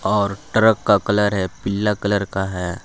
और ट्रक का कलर है पीला कलर का है।